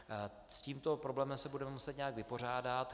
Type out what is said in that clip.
S tímto problémem se budeme muset nějak vypořádat.